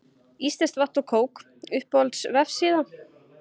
íslenskt vatn og kók Uppáhalds vefsíða?